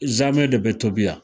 Zamɛ de bɛ tobi yan